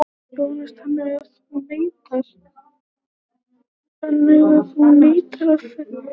Jóhannes: Þannig að þú neitar því að þessi tölvupóstur hafi verið skrifaður?